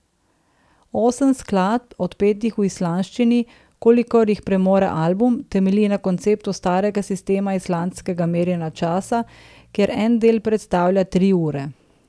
Osem skladb, odpetih v islandščini, kolikor jih premore album, temelji na konceptu starega sistema islandskega merjenja časa, kjer en del predstavlja tri ure.